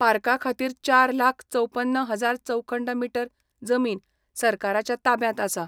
पार्काखातीर चार लाख चौपन्न हजार चौखंड मीटर जमीन सरकाराच्या ताब्यात आसा.